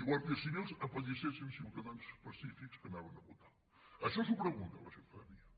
i guàrdies civils apallissessin ciutadans pacífics que anaven a votar això s’ho pregunta la ciutadania